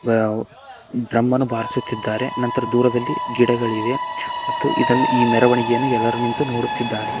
ವ್ಯವ್ drum ಅನ್ನು ಬಾರಿಸುತ್ತಿದ್ದಾರೆ ನಂತರ ದೂರದಲ್ಲಿ ಗಿಡಗಳಿವೆ ಮತ್ತು ಇದನ್ನು ಈ ಮೆರವಣಿಗೆಯನ್ನು ಎಲ್ಲರು ನಿಂತು ನೋಡುತ್ತಿದ್ದಾರೆ.